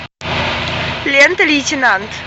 лента лейтенант